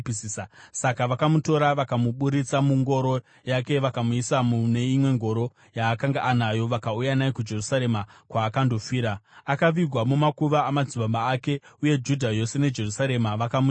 Saka vakamutora vakamuburitsa mungoro yake vakamuisa mune imwe ngoro yaakanga anayo, vakauya naye kuJerusarema, kwaakandofira. Akavigwa mumakuva amadzibaba ake, uye Judha yose neJerusarema vakamuchema.